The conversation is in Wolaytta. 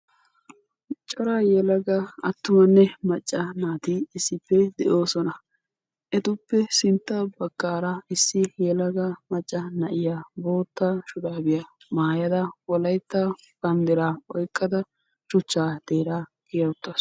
Cora yelaga attumanne macca naati issippe de'oosona. Etuppe sintta baggaara issi yelaga macca na'iya bootta shuraabiya maayada wolaytta banddiraa oykkada shuchchaa xeeraa kiya uttaasu.